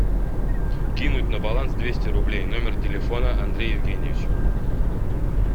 кинуть на баланс двести рублей номер телефона андрей евгеньевич